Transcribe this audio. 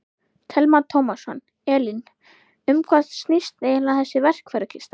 Telma Tómasson: Elín, um hvað snýst eiginlega þessi verkfærakista?